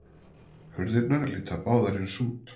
Hurðirnar líta báðar eins út.